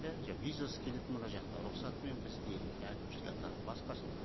иә визасыз келеді мына жақта рұқсатымен бізде әкімшілік басқасы